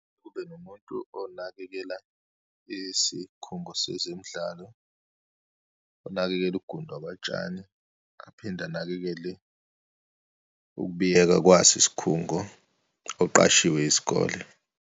Kube nomuntu onakekela isikhungo sezemidlalo, onakekele ugundwa kwatshani, aphinde anakekele ukubiyeka kwaso isikhungo, oqashiwe isikole.